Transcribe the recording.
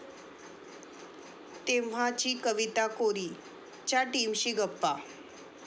तेव्हाची कविता कोरी...'च्या टीमशी गप्पा